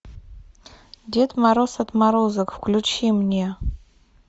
дед мороз отморозок включи мне